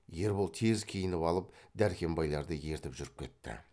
ербол тез киініп алып дәркембайларды ертіп жүріп кетті